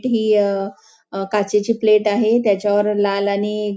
ही अ अ काचेची प्लेट आहे त्याच्यावर लाल आणि --